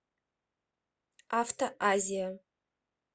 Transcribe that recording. автоазия